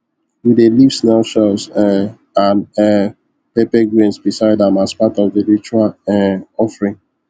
we dey leave snail shells um and um pepper grains beside am as part of the ritual um offering